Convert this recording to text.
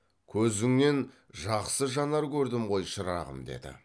көзіңнен жақсы жанар көрдім ғой шырағым деді